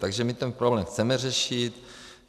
Takže my ten problém chceme řešit.